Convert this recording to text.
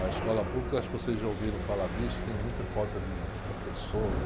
A escola pública, acho que vocês já ouviram falar disso, tem muita falta de, de professor.